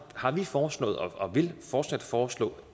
har vi foreslået og vil fortsat foreslå